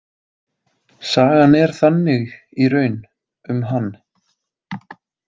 Sagan er þannig í raun um hann.